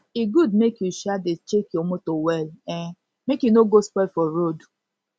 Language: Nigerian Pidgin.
e good make u um dey check your motor well um make e no go spoil for road